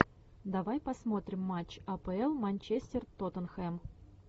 давай посмотрим матч апл манчестер тоттенхэм